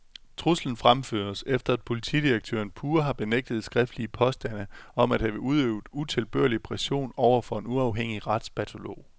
Truslen fremføres, efter at politidirektøren pure har benægtet skriftlige påstande om at have udøvet utilbørlig pression over for en uafhængig retspatalog.